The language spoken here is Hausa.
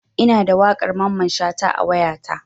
Ina da waƙar Mamman Shata a wayata.